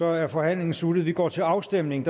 er forhandlingen sluttet og vi går til afstemning